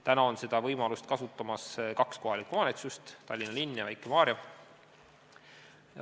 Praegu kasutab seda võimalust kaks kohalikku omavalitsust: Tallinna linn ja Väike-Maarja.